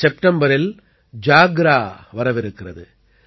செப்டம்பரில் ஜாக்ரா வரவிருக்கிறது